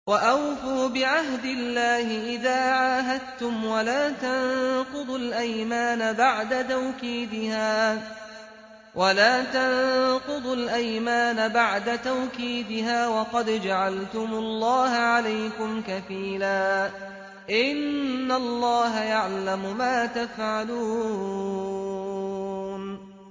وَأَوْفُوا بِعَهْدِ اللَّهِ إِذَا عَاهَدتُّمْ وَلَا تَنقُضُوا الْأَيْمَانَ بَعْدَ تَوْكِيدِهَا وَقَدْ جَعَلْتُمُ اللَّهَ عَلَيْكُمْ كَفِيلًا ۚ إِنَّ اللَّهَ يَعْلَمُ مَا تَفْعَلُونَ